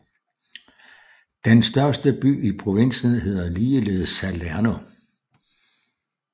Den største by i provinsen hedder ligeledes Salerno